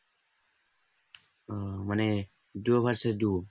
ও মানে duo vs duo